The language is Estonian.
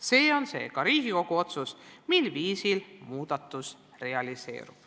Seega on Riigikogu otsustada, millisel viisil muudatus realiseerub.